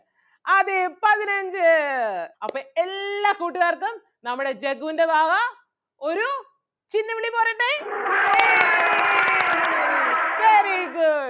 അതേ പതിനഞ്ച് അപ്പം എല്ലാ കൂട്ടുകാർക്കും നമ്മുടെ ജഗ്ഗൂൻ്റെ വക ഒരു ചിന്നംവിളി പോരട്ടേ ഏയ് very good